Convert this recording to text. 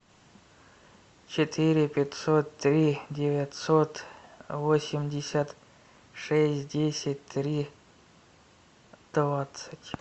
четыре пятьсот три девятьсот восемьдесят шесть десять три двадцать